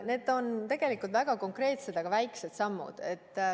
Need on tegelikult väga konkreetsed, aga väiksed sammud.